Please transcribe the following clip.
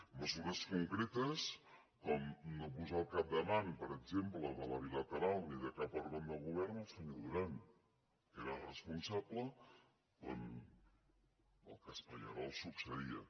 mesures concretes com no posar al capdavant per exemple de la bilateral ni de cap òrgan de govern el senyor duran que n’era responsable quan el cas pallerols succeïa